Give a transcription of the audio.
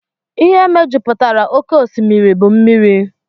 Ihe mejupụtara oké osimiri bụ mmiri